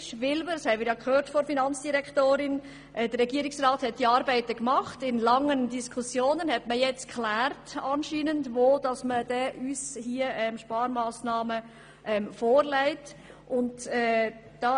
Wir haben von der Finanzdirektorin gehört, dass der Regierungsrat anscheinend im Verlaufe langer Diskussionen geklärt hat, wo man uns welche Sparmassnahmen vorschlagen will.